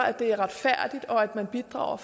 at det er retfærdigt og at man bidrager